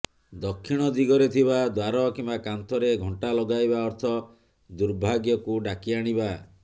ଦକ୍ଷିଣ ଦିଗରେ ଥିବା ଦ୍ବାର କିମ୍ବା କାନ୍ଥରେ ଘଣ୍ଟା ଲଗାଇବା ଅର୍ଥ ର୍ଦୁଭାଗ୍ୟକୁ ଡାକି ଆଣିବା